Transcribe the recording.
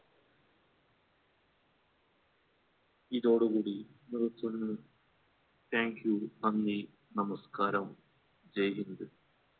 ഇതോടുകൂടി നിർത്തുന്നു thank you നന്ദി നമസ്കാരം